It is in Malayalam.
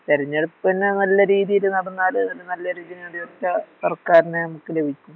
തെരഞ്ഞെടുപ്പന്നെ നല്ലരീതിയില് നടന്നാല് ഒര് നല്ലൊരുജനാതിപത്യ സർക്കാരിന് നമുക്ക് ലഭിക്കും